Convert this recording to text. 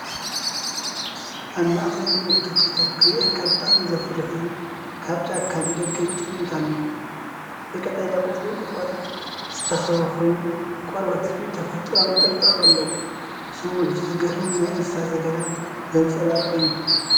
ኣብ ማእከል ልሙዕ ተኽልታት ክሪአካ ብጣዕሚ ዘፍርሕ ዝብኢ ካብቲ ጫካ ንደገ ይጥምት ኣሎ። ብቀጠልያ ቆጽልን ቁጥቋጥን ዝተኸበበ ኮይኑ፤ ቆርበት ዝብኢ ተፈጥሮኣዊ ነጠብጣብ ኣለዎ። ስሚዒቱ ዘገርምን ናይቲ እንስሳ ዘገዳም ዘንጸባርቕን እዩ።